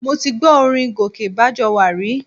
Mo ti gbọ́ orin Gòkè Bájọwà rí